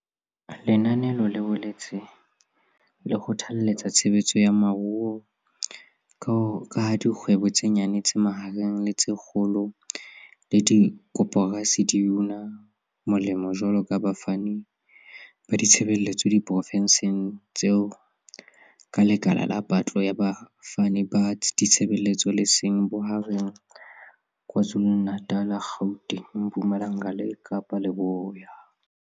Lenanelo le boetse le kgothaletsa tshebetso ya moruo ka ha dikgwebo tse nyane, tse mahareng le tse kgolo le dikoporasi di una molemo jwaloka bafani ba ditshebeletso diprofenseng tseo ka lekala la patlo ya bafani ba ditshebeletso le seng bohareng KwaZulu-Natal, Gauteng, Mpumalanga le Kapa Leboya.